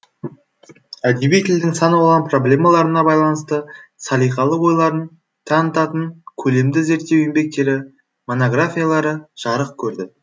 әдеби тілдің сан алуан проблемаларына байланысты салиқалы ойларын танытатын көлемді зерттеу еңбектері монографиялары жарық көрді